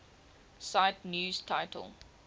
cite news title